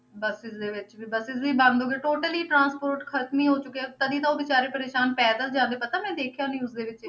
Buses ਦੇ ਵਿੱਚ ਵੀ buses ਵੀ ਬੰਦ ਹੋ ਗਏ totally transport ਖ਼ਤਮ ਹੀ ਹੋ ਚੁੱਕਿਆ, ਤਦੇ ਤਾਂ ਉਹ ਬੇਚਾਰੇ ਪਰੇਸਾਨ ਪੈਦਲ ਜਾਂਦੇ ਪਤਾ ਮੈਂ ਦੇਖਿਆ news ਦੇ ਵਿੱਚ।